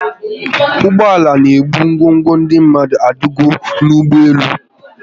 Ụgbọala n'ebu ngwongwo ndị mmadụ adigo n'ụgbọelu